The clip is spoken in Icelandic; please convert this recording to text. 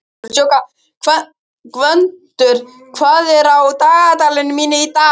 Gvöndur, hvað er á dagatalinu mínu í dag?